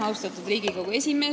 Austatud Riigikogu esimees!